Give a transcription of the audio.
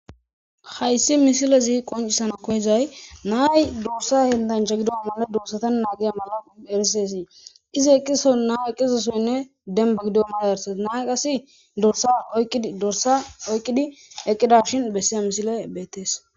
Hayssi misilezii qonccisizanna koyizay na'ayi dorssa henttanchch gidoggan dorssa ngiyo mala na'ayi aqizosoy dembba giddizoyssa besses na'ayi qase dorssa oyqidashin dorssa oyqida misile besses